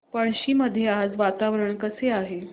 पळशी मध्ये आज वातावरण कसे आहे